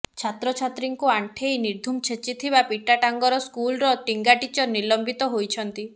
ଛାତ୍ରଛାତ୍ରୀଙ୍କୁ ଆଣ୍ଠେଇ ନିର୍ଧୁମ ଛେଚିଥିବା ପିଟାଟାଙ୍ଗର ସ୍କୁଲର ଟିଙ୍ଗା ଟିଚର ନିଲମ୍ବିତ ହୋଇଛନ୍ତି